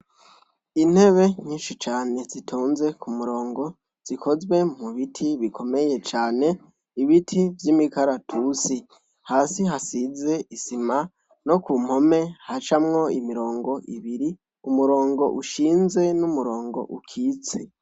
Intebe nyinshi cane zitonze ku murongo. Zikozwe mu biti bimomeye cane, ibiti vy'imikaratusi. Hasi hasize isima, no ku mpome hacamwo imirongo ibiri: umurongo ushinze, n'umurongo ukitse.